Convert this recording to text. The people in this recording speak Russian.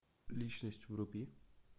личность вруби